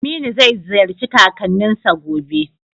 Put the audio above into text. Aminu zai ziyarci kakanninsa gobe.